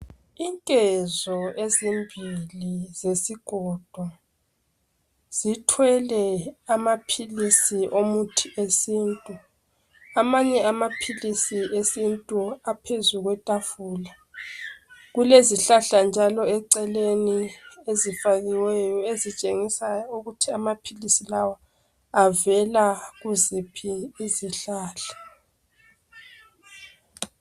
Inkezo ezimbili zesikolo uzithwele amaphilisi omuthi wesintu amanye amaphilisi esintu aphezu kwetafula kulezihlahla njalo eceleni ezifakiweyo ezitshengisa ukuthi amaphilisi lawa avela kuziphi izihlahla